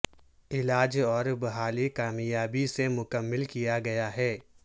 علاج اور بحالی کامیابی سے مکمل کیا گیا ہے